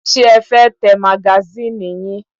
Ṣé ẹ fẹ́ tẹ magasínì yín?